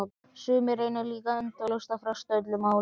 Sumir reyna líka endalaust að fresta öllum málum.